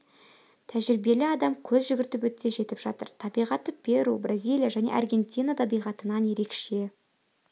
тәжірибелі адам көз жүгіртіп өтсе жетіп жатыр табиғаты перу бразилия және аргентина табиғатынан ерекше